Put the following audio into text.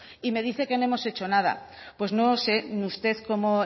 y me dice que no hemos hecho nada pues no sé usted cómo